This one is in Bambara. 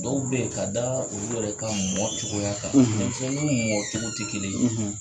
Dɔw be yen ka da u yɛrɛ ka mɔ cogoya kan denmisɛnninw mɔ cogo te kelen ye